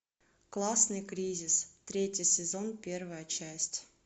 классный кризис третий сезон первая часть